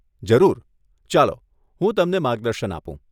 જરૂર, ચાલો, હું તમને માર્ગદર્શન આપું.